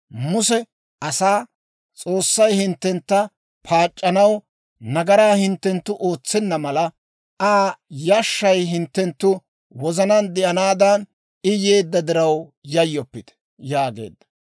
Muse asaa, «S'oossay hinttentta paac'c'anaw, nagaraa hinttenttu ootsenna mala, Aa yashshay hinttenttu wozanaan de'anaadan, I yeedda diraw yayyoppite» yaageedda.